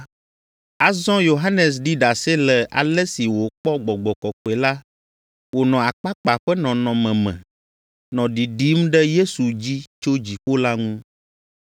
Azɔ Yohanes ɖi ɖase le ale si wòkpɔ Gbɔgbɔ Kɔkɔe la wònɔ akpakpa ƒe nɔnɔme me, nɔ ɖiɖim ɖe Yesu dzi tso dziƒo la ŋu.